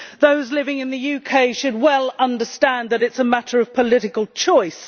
Those living in the UK should well understand that it is a matter of political choice.